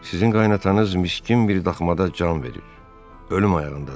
Sizin qaynananız miskin bir daxmada can verir, ölüm ayağındadır.